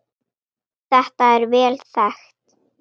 Þetta er vel þekkt.